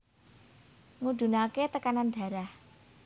Ngudhunaké tekanan darah